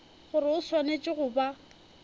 gore o swanetše go ba